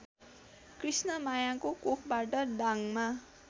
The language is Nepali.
कृष्णमायाको कोखबाट दाङमा